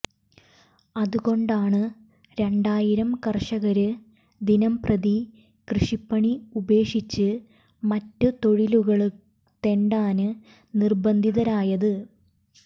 അതുകൊണ്ടാണ് രണ്ടായിരം കര്ഷകര് ദിനംപ്രതി കൃഷിപ്പണി ഉപേക്ഷിച്ച് മറ്റു തൊഴിലുകള് തെണ്ടാന് നിര്ബന്ധിതരായത്